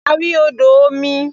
A rí odò omi.